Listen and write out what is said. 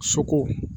Soko